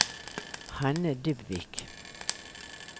Hanne Dybvik